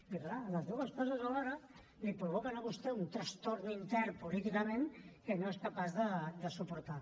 i clar les dues coses alhora li provoquen a vostè un trastorn intern políticament que no és capaç de suportar